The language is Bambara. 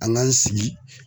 An k'an sigi.